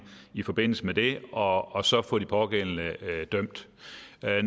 i forbindelse med det og og så få de pågældende dømt